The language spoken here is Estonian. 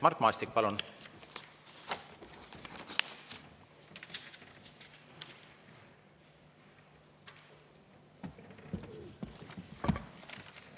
Mart Maastik, palun!